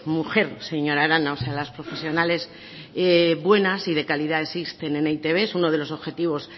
mujer señora arana o sea las profesionales buenas y de calidad existen en e i te be es uno de los objetivos